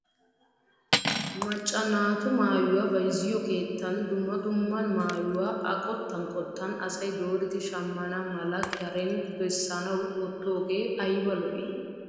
Macca naatu maayuwaa bayzziyoo keettan dumma dumma mayuwaa a qottan qottan asay dooridi shammana mala karen beessanwu woottoogee ayba lo"ii!